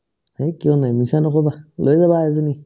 হেহ্, কিয় নাই মিছা নক'বা লৈ যাবা এজনী